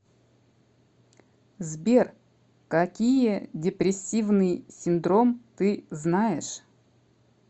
сбер какие депрессивный синдром ты знаешь